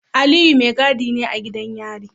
Aliyu mai gadi ne a gidan yari.